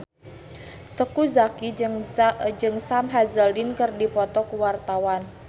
Teuku Zacky jeung Sam Hazeldine keur dipoto ku wartawan